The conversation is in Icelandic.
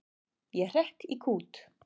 Ég hrekk í kút.